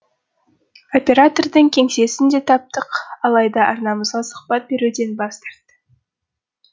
оператордың кеңсесін де таптық алайда арнамызға сұхбат беруден бас тартты